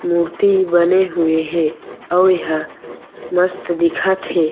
मूर्ति बने हुए हे अउ ए ह मस्त दिखत हे।